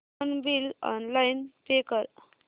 phone bill online pay कर